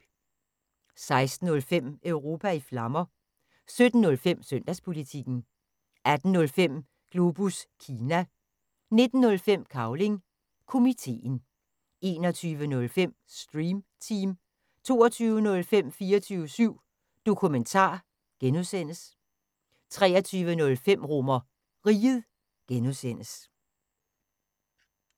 16:05: Europa i Flammer 17:05: Søndagspolitikken 18:05: Globus Kina 19:05: Cavling Komiteen 21:05: Stream Team 22:05: 24syv Dokumentar (G) 23:05: RomerRiget (G)